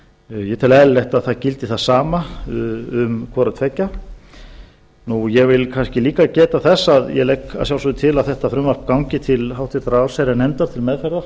ég tel eðlilegt að það gildi það sama um hvoruttveggja nú ég vil kannski líka geta þess að ég legg að sjálfsögðu til að þetta frumvarp gangi til háttvirtrar allsherjarnefndar til meðferðar